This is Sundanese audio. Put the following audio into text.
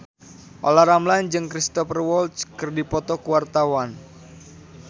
Olla Ramlan jeung Cristhoper Waltz keur dipoto ku wartawan